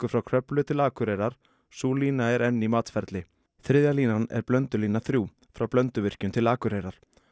frá Kröflu til Akureyrar sú lína er enn í matsferli þriðja línan er Blöndulína þrír frá Blönduvirkjun til Akureyrar